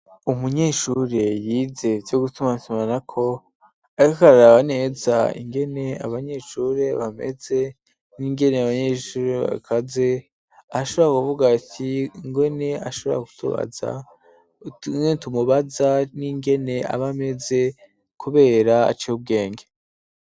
Umunyeshure yize ivyo gutumatumanako ko arkarari abaneza ingene abanyeshuri bameze n'ingene y'abanyeshuri bakaze aashobora kuvuga ati ngone ashobora gutubaza te tumubaza n'ingene abameze kubera aco ubwenge.